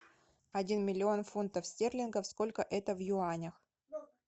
один миллион фунтов стерлингов сколько это в юанях